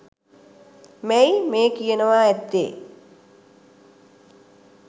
මැය මේ කියනවා ඇත්තේ